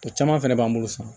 O caman fɛnɛ b'an bolo sa